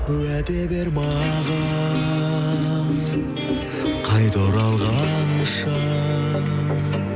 уәде бер маған қайта оралғанша